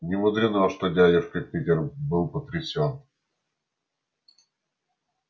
немудрено что дядюшка питер был потрясен